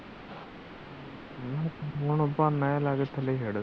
ਨਾ ਨਾ ਬਹਾਨਾ ਜਿਹਾ ਲੈਕੇ ਥੱਲੇ ਛੱਡ